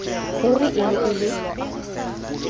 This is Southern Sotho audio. ruri e ne e le